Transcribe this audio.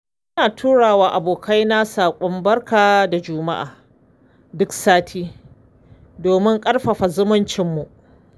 Ina tura wa abokaina saƙon barka da juma'a duk sati domin ƙarfafa zumuncinmu.